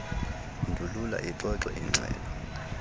ndulula ixoxwe igxelo